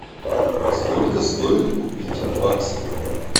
сколько стоит купить бакс